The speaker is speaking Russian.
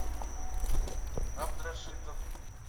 абдрашитов